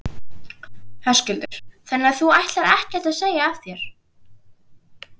Höskuldur: Þannig að þú ætlar ekkert að segja af þér?